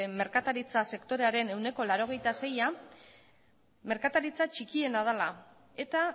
merkataritza sektorearen ehuneko laurogeita seia merkataritza txikiena dela eta